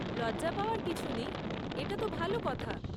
লজ্জা পাওয়ার কিছু নেই, এটা তো ভালো কথা।